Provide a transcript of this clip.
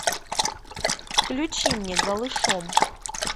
включи мне голышом